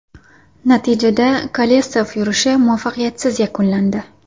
Natijada, Kolesov yurishi muvaffaqiyatsiz yakunlandi.